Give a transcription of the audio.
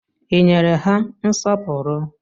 I nyere ha nsọpụrụ?